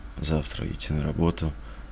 завтра идти на работу